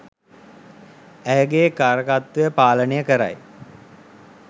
ඇයගේ කාරකත්වය පාලනය කරයි